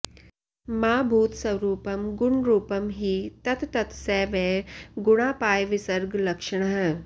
मा भूत्स्वरूपं गुणरूपं हि तत्तत् स वै गुणापायविसर्गलक्षणः